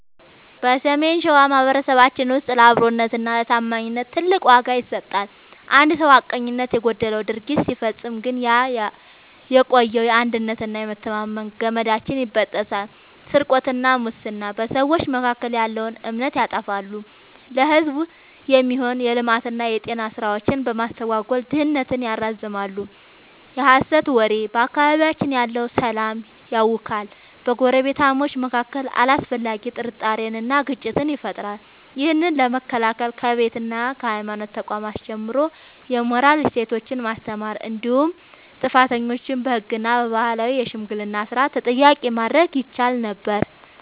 በሰሜን ሸዋ ማኅበረሰባችን ውስጥ ለአብሮነትና ለታማኝነት ትልቅ ዋጋ ይሰጣል። አንድ ሰው ሐቀኝነት የጎደለው ድርጊት ሲፈጽም ግን ያ የቆየው የአንድነትና የመተማመን ገመዳችን ይበጠሳል። ስርቆትና ሙስና፦ በሰዎች መካከል ያለውን እምነት ያጠፋሉ፤ ለሕዝብ የሚሆኑ የልማትና የጤና ሥራዎችን በማስተጓጎል ድህነትን ያራዝማሉ። የሐሰት ወሬ፦ በአካባቢያችን ያለውን ሰላም ያውካል፤ በጎረቤታማቾች መካከል አላስፈላጊ ጥርጣሬንና ግጭትን ይፈጥራል። ይህን ለመከላከል ከቤትና ከሃይማኖት ተቋማት ጀምሮ የሞራል እሴቶችን ማስተማር እንዲሁም ጥፋተኞችን በሕግና በባህላዊ የሽምግልና ሥርዓት ተጠያቂ ማድረግ ይቻል ነበር።